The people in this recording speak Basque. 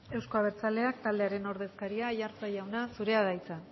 eusko abertzaleak taldearen ordezkaria aiartza jauna zurea da hitza